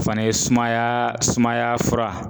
O fana ye sumayaa sumaya fura